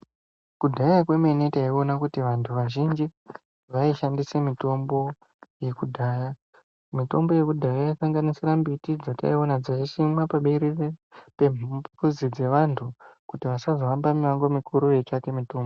Kudhaya kwemene taiona kuti vantu vazhinji vaishandise mitombo yekudhaya mitombo yekudhaya yaisanga nisira mbiti dzataiona dzaisimwa paberere pemuzi dzevantu kuti asazohama mumango mikuru veitsvake mitombo